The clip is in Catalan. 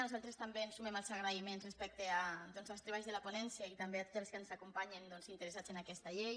nosaltres també ens sumem als agraïments respecte als treballs de la ponència i també a tots els ens acompanyen doncs interessats en aquesta llei